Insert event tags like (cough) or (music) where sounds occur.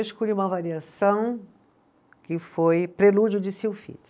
Eu escolhi uma variação que foi prelúdio de (unintelligible)